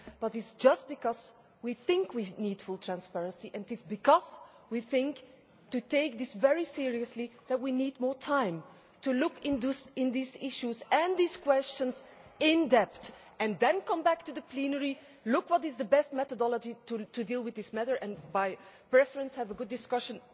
It is precisely because we think we need full transparency, and because we think to take this very seriously, that we need more time to look at these issues and these questions in depth and then come back to the plenary, look at what is the best methodology to deal with this matter and by preference, have a good discussion